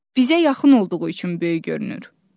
Bizə yaxın olduğu üçün böyük görünür.